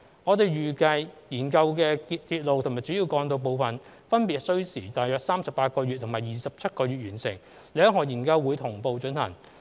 我們預計研究的鐵路及主要幹道部分，分別需時約38個月及27個月完成，兩項研究會同步進行。